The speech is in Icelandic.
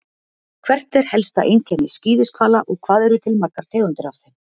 Hvert er helsta einkenni skíðishvala og hvað eru til margar tegundir af þeim?